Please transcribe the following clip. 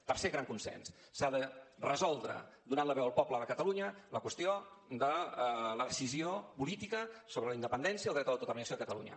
tercer gran consens s’ha de resoldre donant la veu al poble de catalunya la qüestió de la decisió política sobre la independència i el dret a l’autodeterminació de catalunya